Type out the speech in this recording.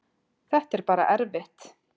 Þetta er bara erfitt